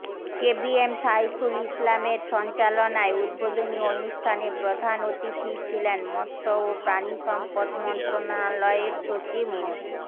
KBM Saiful ইসলামের সঞ্চালনায় উদ্বোধনী অনুষ্ঠানে প্রধান অতিথি ছিলেন মৎস্য ও প্রাণিসম্পদ মন্ত্রণালয়ের সচিব মো